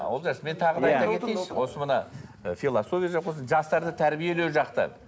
олжас мен тағы да айта кетейінші осы мына ы философия жастарды тәрбиелеу жақтары